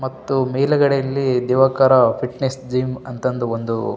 ಮತ್ತು ಮೇಲಗಡೆಯಲ್ಲಿ Diwakar fitness gym ಅಂತಂದು ಒಂದು --